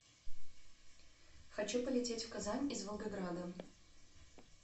хочу полететь в казань из волгограда